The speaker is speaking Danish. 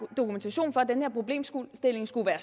dokumentation for at den her problemstilling skulle være